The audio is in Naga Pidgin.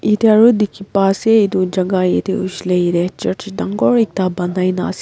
etu aro diki pa ase etu jaga yete hoishey le yete church dangor ekta panai na ase.